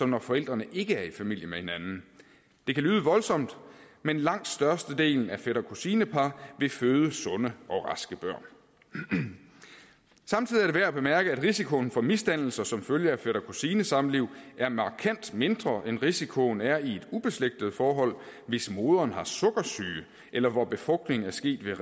når forældrene ikke er i familie med hinanden det kan lyde voldsomt men langt størstedelen af fætter kusine par vil føde sunde og raske børn samtidig er det værd at bemærke at risikoen for misdannelser som følge af fætter kusine samliv er markant mindre end risikoen er i et ubeslægtet forhold hvis moderen har sukkersyge eller hvor befrugtningen er sket ved